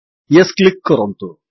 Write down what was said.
Yes click କରନ୍ତୁ